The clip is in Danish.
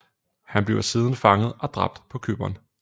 Han bliver siden fanget og dræbt på Cypern